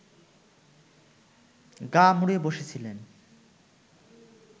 গা মুড়ে বসেছিলেন